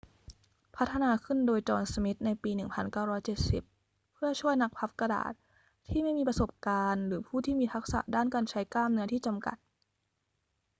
พัฒนาขึ้นโดย จอห์น สมิธ ในปี 1970 เพื่อช่วยนักพับกระดาษที่ไม่มีประสบการณ์หรือผู้ที่มีทักษะด้านการใช้กล้ามเนื้อที่จำกัด